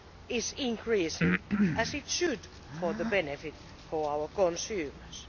is increasing as it should, for the benefit of our consumers.